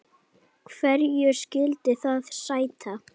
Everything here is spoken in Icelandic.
Hverju skyldi það sæta?